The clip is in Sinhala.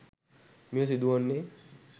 මෙය සිදුවන්නේ